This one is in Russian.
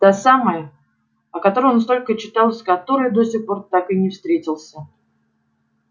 та самая о которой он столько читал и с которой до сих пор так и не встретился